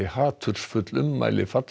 hatursfull ummæli